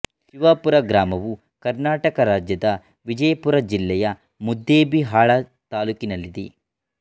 ಶಿವಾಪುರ ಗ್ರಾಮವು ಕರ್ನಾಟಕ ರಾಜ್ಯದ ವಿಜಯಪುರ ಜಿಲ್ಲೆಯ ಮುದ್ದೇಬಿಹಾಳ ತಾಲ್ಲೂಕಿನಲ್ಲಿದೆ